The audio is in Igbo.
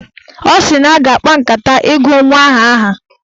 Ọ sị na ha ga-akpa nkata ịgụ nwa ahụ aha.